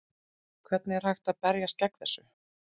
Hvernig er hægt að berjast gegn þessu?